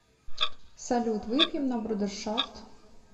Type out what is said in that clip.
салют выпьем на брудершафт